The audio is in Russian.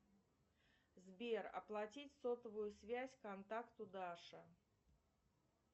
сбер оплатить сотовую связь контакту даша